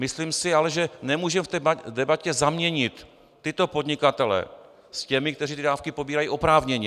Myslím si ale, že nemůžeme v debatě zaměnit tyto podnikatele s těmi, kteří ty dávky pobírají oprávněně.